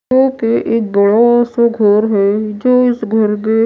एक बड़ा सा घर है जो इस घर के--